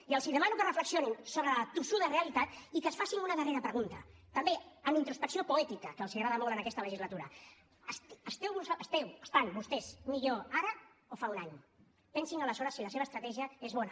i els demano que reflexionin sobre la tossuda realitat i que es facin una darrera pregunta també amb introspecció poètica que els agrada molt en aquesta legislatura esteu estan vostès millor ara o fa un any pensin aleshores si la seva estratègia és bona